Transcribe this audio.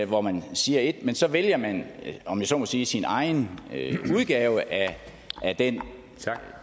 hvor man siger ét men så vælger man om jeg så må sige sin egen udgave af det